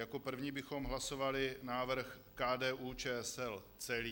Jako první bychom hlasovali návrh KDU-ČSL celý.